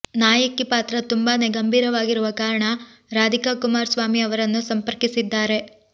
ನಾಯಕಿ ಪಾತ್ರ ತುಂಬಾನೇ ಗಂಭೀರವಾಗಿರುವ ಕಾರಣ ರಾಧಿಕಾ ಕುಮಾರಸ್ವಾಮಿ ಅವರನ್ನು ಸಂಪರ್ಕಿಸಿದ್ದಾರೆ